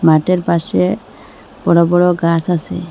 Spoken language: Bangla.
মাঠের পাশে বড় বড় গাছ আছে।